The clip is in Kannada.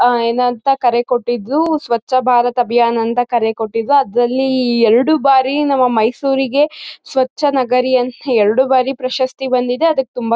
ಆಹ್ಹ್ ಏನಂಥ ಕರೆ ಕೊಟ್ಟಿದ್ಲು ಸ್ವಚ್ಛ ಭಾರತ್ ಅಭಿಯಾನ ಅಂತ ಕರೆ ಕೊಟ್ಟಿದ್ರುಅದ್ರಲ್ಲಿ ಎರಡು ಬಾರಿ ನಮ್ಮ ಮೈಸೂರಿಗೆ ಸ್ವಚ್ಛ ನಗರಿ ಅಂತ್ ಎರಡು ಬಾರಿ ಪ್ರಶಸ್ತಿ ಬಂದಿದೆ ಅದಕ್ ತುಂಬಾ